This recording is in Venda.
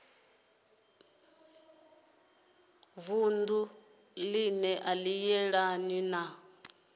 vunu ane a yelana na